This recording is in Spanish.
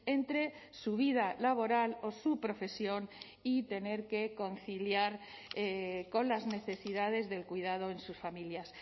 entre su vida laboral o su profesión y tener que conciliar con las necesidades del cuidado en sus familias